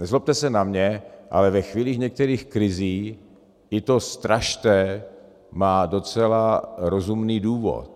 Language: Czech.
Nezlobte se na mě, ale v chvílích některých krizí i to strašte má docela rozumný důvod.